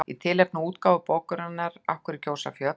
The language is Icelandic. Í tilefni af útgáfu bókarinnar Af hverju gjósa fjöll?